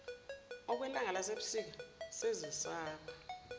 okwelanga lasebusika sezisaba